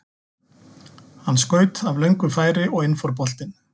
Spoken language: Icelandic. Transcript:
Hann skaut af löngu færi og inn fór boltinn.